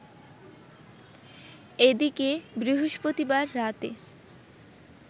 এদিকে বৃহস্পতিবার রাতে